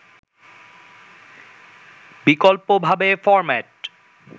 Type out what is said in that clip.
বিকল্পভাবে ফরম্যাট